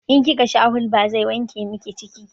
In kika sha hulba zai wanke miki ciki